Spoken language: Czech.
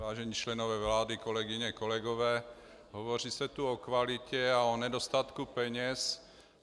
Vážení členové vlády, kolegyně, kolegové, hovoří se tu o kvalitě a o nedostatku peněz.